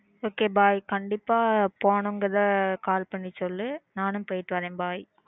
okay bye கண்டிப்பா போகணும்ன்னு call பண்ணி சொல்லு நானும் போயிட்டு வரேன் bye